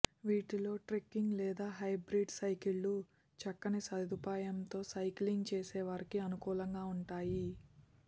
వీటిలో ట్రెక్కింగ్ లేదా హైబ్రిడ్ సైకిళ్లు చక్కని సదు పాయంతో సైకిలింగ్ చేసే వారికి అనుకూ లంగా ఉంటాయి